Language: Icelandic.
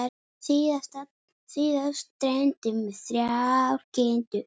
Síðast dreymdi mig þrjár kindur.